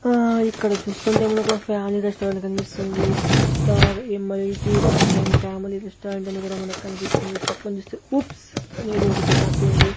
హా ఇక్కడ చూస్తుంటే మనకు ఫ్యామిలీ రెస్టారెంట్ కనిపిస్తుంది సీత యం_ఎల్_టి ఇక్కడ సైన్ ఫ్యామిలీ రెస్టారెంట్ అని కూడా కనిపిస్తుంది పక్కన చూస్తే ఊప్స్ అనేది ఒకటి రాసి ఉంది.